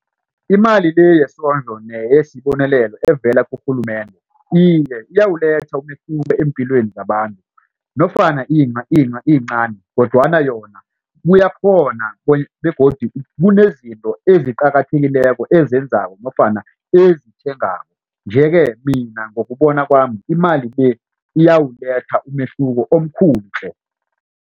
Imali le yesondlo neyesibonelelo evela kurhulumende iye iyawuletha umehluko empilweni zabantu nofana iyincani kodwana yona kuyakhona begodu kunezinto eziqakathekileko ezenzako nofana ezithengako nje ke mina ngokubona kwami imali le iyawuletha umehluko omkhulu tle.